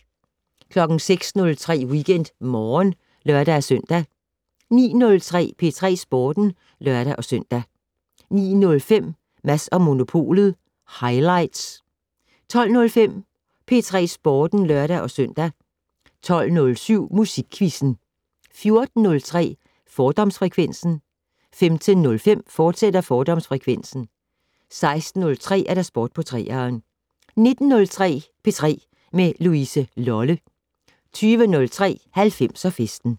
06:03: WeekendMorgen (lør-søn) 09:03: P3 Sporten (lør-søn) 09:05: Mads & Monopolet - highlights 12:05: P3 Sporten (lør-søn) 12:07: Musikquizzen 14:03: Fordomsfrekvensen 15:05: Fordomsfrekvensen, fortsat 16:03: Sport på 3'eren 19:03: P3 med Louise Lolle 20:03: 90'er-festen